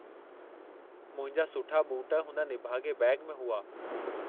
मुंहिंजा सुठा बूट हुन निभागे॒ बैग में हुआ।